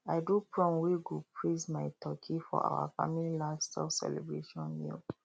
i do prom wey go praise my turkey for our family livestock celebration meal